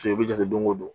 i bɛ jate don ko don